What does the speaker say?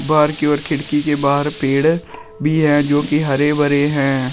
Park की ओर खिड़की के बाहर पेड़ भी है जोकि हरे भरे हैं।